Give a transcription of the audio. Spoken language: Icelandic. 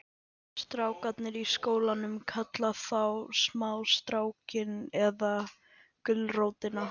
Strákarnir í skólanum kalla hana þá smástrákinn eða gulrótina.